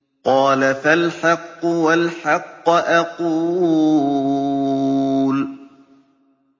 قَالَ فَالْحَقُّ وَالْحَقَّ أَقُولُ